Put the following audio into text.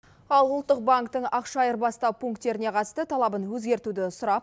ал ұлттық банктың ақша айырбастау пунктеріне қатысты талабын өзгертуді сұрап